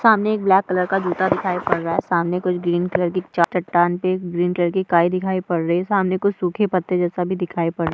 सामने एक black colour का जूता दिखाई पड़ रहा है सामने कुछ ग्रीन कलर की चट्टान पे ग्रीन कलर की काई दिखाई पड़ रही है सामने कुछ सूखे पत्ते जैसा भी दिखाई पड़ --